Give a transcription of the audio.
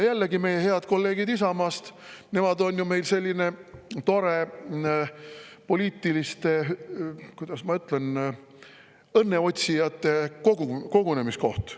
Jällegi, head kolleegid Isamaast, on selline tore – kuidas ma ütlen – poliitiliste õnneotsijate kogunemiskoht.